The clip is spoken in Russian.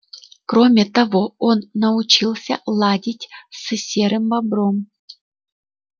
кроме того он научился ладить с серым бобром